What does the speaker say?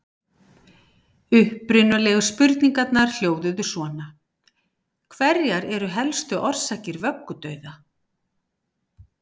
Upprunalegu spurningarnar hljóðuðu svona: Hverjar eru helstu orsakir vöggudauða?